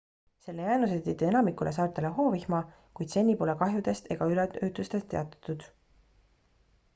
selle jäänused tõid enamikule saartele hoovihma kuid seni pole kahjudest ega üleujutustest teatatud